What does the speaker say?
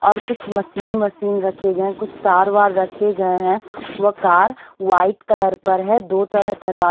और कुछ machine machine रखे गए हैं कुछ तारवार रखे गए हैं वह कार वाइट कलर पर है दो तरह तरवा--